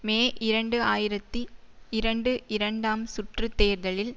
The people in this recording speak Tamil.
மே இரண்டு ஆயிரத்தி இரண்டு இரண்டாம் சுற்று தேர்தலில்